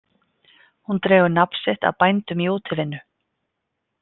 Hún dregur nafn sitt af bændum í útivinnu.